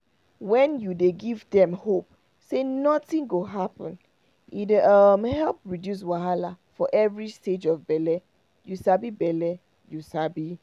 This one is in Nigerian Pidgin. wen you dey give dem hope say nothing go happen e dey help reduce wahala for every stage of bele you sabi bele you sabi